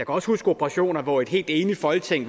også huske operationer hvor et helt enigt folketing